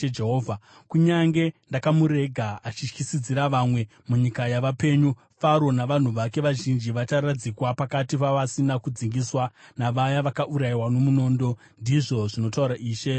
Kunyange ndakamurega achityisidzira vamwe munyika yavapenyu, Faro navanhu vake vazhinji vacharadzikwa pakati pavasina kudzingiswa, navaya vakaurayiwa nomunondo, ndizvo zvinotaura Ishe Jehovha.”